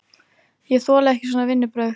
Ég þoli ekki svona vinnubrögð!